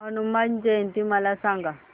हनुमान जयंती मला सांगा